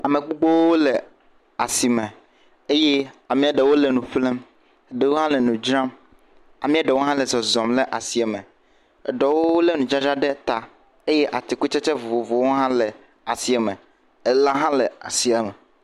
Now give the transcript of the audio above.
Ama gbogbowo le asime. Ama ɖewo hã le nu ƒlem. Ɖewo hã le nu dzram. Ama ɖewo hã le zɔzɔm le asiɛmɛ. Eɖewo lé nudzadzra ɖe ta eye atikutsetse vovovowo hã le asiɛme. Elã hã le asiame.